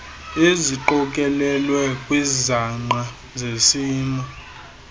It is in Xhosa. eziqokelelwe kwizangqa zesimo